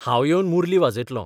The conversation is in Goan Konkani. हांव येवन मुरली वाजयतलों.